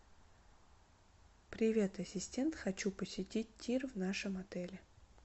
привет ассистент хочу посетить тир в нашем отеле